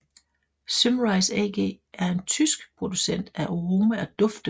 Symrise AG er en tysk producent af aroma og dufte